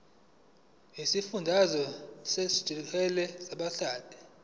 wesifunda sasegert sibande